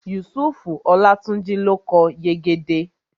Yusufu Olátúnjí ló kọ Yegede